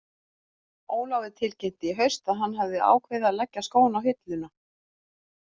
Ólafur tilkynnti í haust að hann hefði ákveðið að leggja skóna á hilluna.